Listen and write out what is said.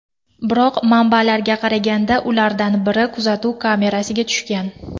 Biroq, manbalarga qaraganda, ulardan biri kuzatuv kamerasiga tushgan.